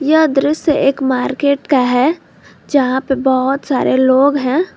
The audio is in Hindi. यह दृश्य एक मार्केट का है जहां पे बहोत सारे लोग हैं।